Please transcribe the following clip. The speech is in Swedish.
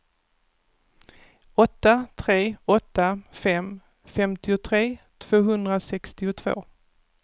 åtta tre åtta fem femtiotre tvåhundrasextiotvå